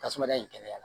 Tasuma in kɛnɛya